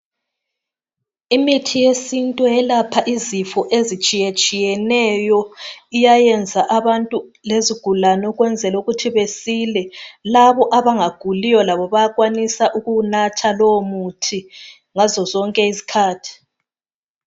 Imithi yesintu iyelapha izifo ezitshiya tshiyeneyo iyayenza abantu lezigulani ukuthi besile labo abangaguliyo bayakwanisa ukuwunatha lowo muthi ngazo zonke izikhathi